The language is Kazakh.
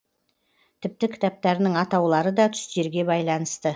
тіпті кітаптарының атаулары да түстерге байланысты